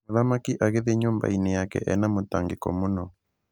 Mũthamaki agĩthie nyũmbainĩ yake ena mũtangĩko mũno.